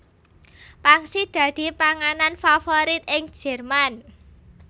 Pangsit dadi panganan favorit ing Jerman